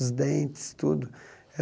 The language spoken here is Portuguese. Os dentes, tudo.